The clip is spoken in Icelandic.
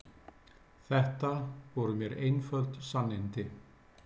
Þetta voru mér einföld sannindi.